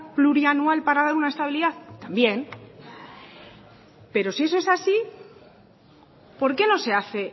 plurianual para dar una estabilidad también pero si eso es así por qué no se hace